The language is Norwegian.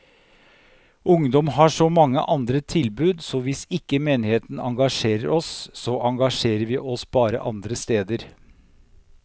Ungdom har så mange andre tilbud, så hvis ikke menigheten engasjerer oss, så engasjerer vi oss bare andre steder.